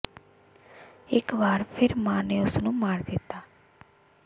ਇਕ ਵਾਰ ਫਿਰ ਮਾਂ ਨੇ ਉਸ ਨੂੰ ਮਾਰ ਦਿੱਤਾ